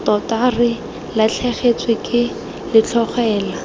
tota re latlhegetswe ke letlhogela